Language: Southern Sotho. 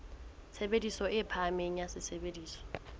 tshebediso e phahameng ya sesebediswa